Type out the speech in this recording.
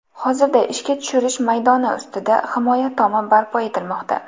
Hozirda ishga tushirish maydoni ustida himoya tomi barpo etilmoqda.